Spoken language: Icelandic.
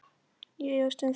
Ég efast um það.